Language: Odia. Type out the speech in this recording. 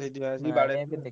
ସେଇଥିପାଇଁ ଆସି